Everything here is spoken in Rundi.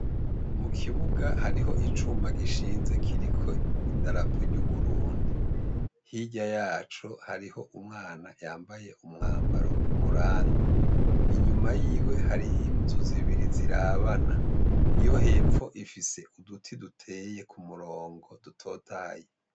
Mu kibuga, harih' icuma gishinze kirik' ibendera ryu Burundi, hirya yaco harih' umwana yambay' umwambar' umuranga, inyuma yiwe harih' inzu zibiri zirabana, iyo hepf' ifis' uduti duteye k' umurongo dutotahaye.